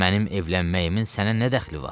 Mənim evlənməyimin sənə nə dəxli var?